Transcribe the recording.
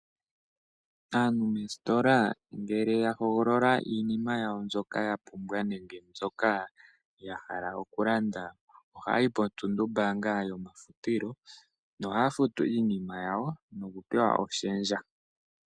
Aantu moositola ngele ya hogolola iinima yawo mbyoka ya pumbwa nenge mbyoka ya hala okulanda ohaya yi potunumbaanga yomafutilo. Ohaya futu iinima yawo nokupewa oshendja.